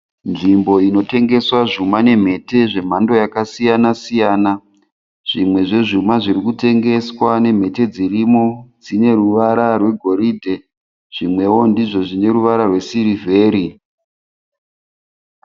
Nzvimbo inotengeswa zvuma nemhete zvemhando yakasiyana siyana. Zvimwe zvezvuma zviri kutengeswa nemhete dzirimo dzine ruvara rwegoridhe, zvimwewo ndizvo zvine ruvara rwesirivheri.